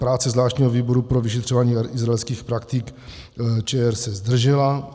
Práce zvláštního výboru pro vyšetřování izraelských praktik - ČR se zdržela.